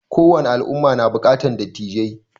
Ko wani al'umma na buƙatar dattijai